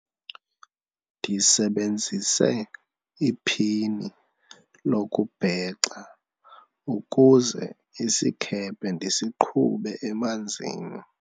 ndisebenzise iphini lokubhexa ukuze isikhephe ndisiqhube emanzini